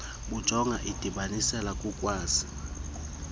bujonga indibanisela yokukwazi